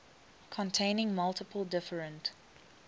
containing multiple different